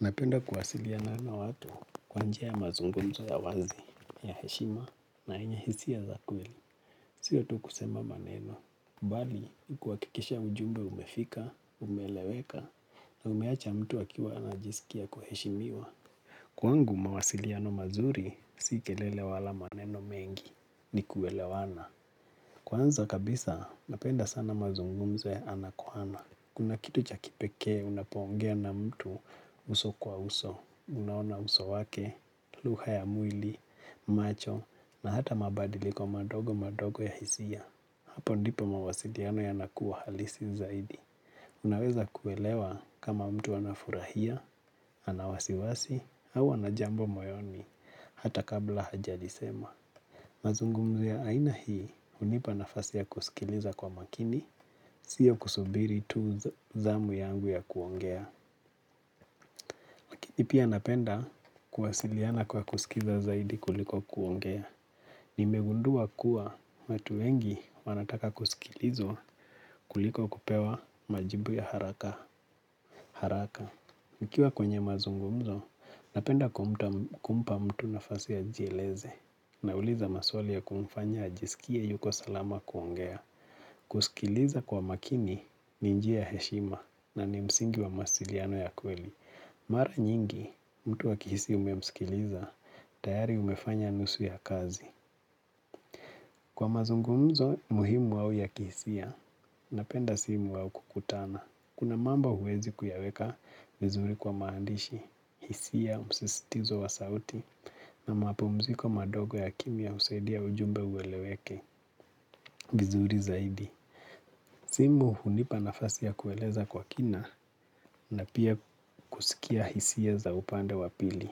Napenda kuwasiliana na watu kwa njia ya mazungumzo ya wazi, ya heshima, na yenye hisia za kweli. Sio tu kusema maneno, bali kuhakikisha ujumbe umefika, umeeleweka, na umeacha mtu akiwa anajisikia kuheshimiwa. Kwangu mawasiliano mazuri si kelele wala maneno mengi ni kuelewana. Kwanza kabisa napenda sana mazungumzo ya ana kwa ana. Kuna kitu cha kipekee unapoongea na mtu uso kwa uso. Unaona uso wake, lugha ya mwili, macho, na hata mabadiliko madogo madogo ya hisia. Hapo ndipo mawasiliano yanakuwa halisi zaidi. Unaweza kuelewa kama mtu anafurahia, ana wasiwasi, au ana jambo moyoni, hata kabla hajalisema. Mazungumzo ya aina hii, hunipa nafasi ya kusikiliza kwa makini, sio kusubiri tu zamu yangu ya kuongea. Lakini pia napenda kuwasiliana kwa kusikiza zaidi kuliko kuongea. Nimegundua kuwa watu wengi wanataka kusikilizwa kuliko kupewa majibu ya haraka. Nikiwa kwenye mazungumzo, napenda kumpa mtu nafasi ajieleze. Nauliza maswali ya kumfanya ajisikie yuko salama kuongea. Kusikiliza kwa makini ni njia ya heshima na ni msingi wa mawasiliano ya kweli. Mara nyingi, mtu akihisi umemsikiliza, tayari umefanya nusu ya kazi. Kwa mazungumzo, muhimu au ya kihisia, napenda simu au kukutana. Kuna mambo huwezi kuyaweka vizuri kwa maandishi. Hisia, msistizo wa sauti, na mapumziko madogo ya kimya husaidia ujumbe ueleweke, vizuri zaidi. Simu hunipa nafasi ya kueleza kwa kina, na pia kusikia hisia za upande wa pili.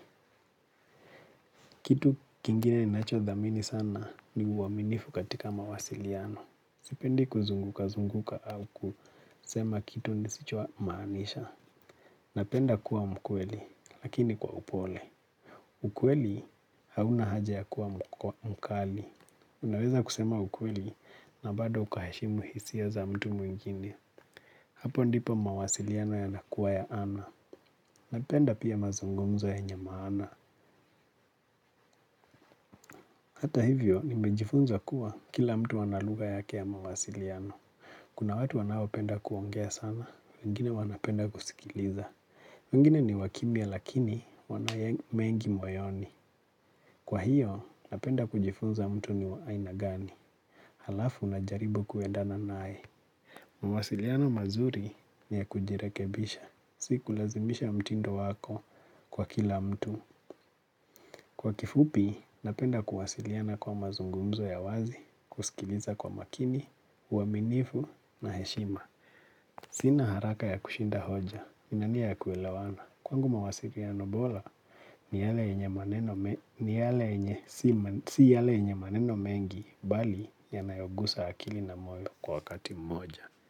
Kitu kingine ninachothamini sana ni uaminifu katika mawasiliano. Sipendi kuzunguka zunguka au kusema kitu nisichomaanisha. Napenda kuwa mkweli, lakini kwa upole. Mkweli hauna haja ya kuwa mkali. Unaweza kusema ukweli na bado ukaheshimu hisia za mtu mwingine. Hapo ndipo mawasiliano yanakuwa ya ana. Napenda pia mazungumzo yenye maana. Hata hivyo, nimejifunza kuwa kila mtu ana lugha yake ya mawasiliano. Kuna watu wanaopenda kuongea sana, wengine wanapenda kusikiliza. Wengine ni wakimya lakini wana mengi moyoni. Kwa hiyo, napenda kujifunza mtu ni wa aina gani. Halafu najaribu kuendana naye. Mawasiliano mazuri ni ya kujirekebisha. Si kulazimisha mtindo wako kwa kila mtu. Kwa kifupi, napenda kuwasiliana kwa mazungumzo ya wazi. Kusikiliza kwa makini, uaminifu na heshima. Sina haraka ya kushinda hoja, nina nia ya kuelewana. Kwangu mawasiliano bora, si yale yenye maneno mengi, bali yanayogusa akili na moyo kwa wakati mmoja.